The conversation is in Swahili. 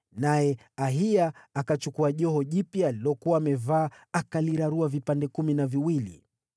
naye Ahiya akachukua joho jipya alilokuwa amevaa akalirarua vipande kumi na viwili.